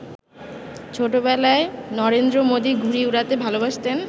ছোটবেলায় নরেন্দ্র মোদি ঘুড়ি উড়াতে ভালোবাসতেন।